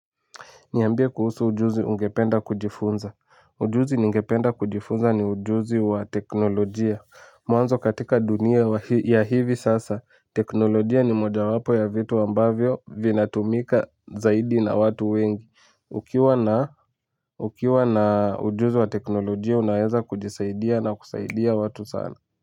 Niambie kuhusu ujuzi ungependa kujifunza. Ujuzi ningependa kujifunza ni ujuzi wa teknolojia. Mwanzo katika dunia ya hivi sasa, teknolojia ni moja wapo ya vitu ambavyo vinatumika zaidi na watu wengi. Ukiwa na ujuzi wa teknolojia, unaweza kujisaidia na kusaidia watu sana.